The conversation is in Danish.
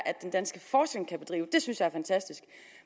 den danske forskning kan bedrive det synes jeg er fantastisk